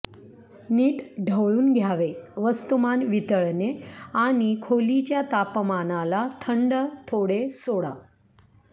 नीट ढवळून घ्यावे वस्तुमान वितळणे आणि खोलीच्या तापमानाला थंड थोडे सोडा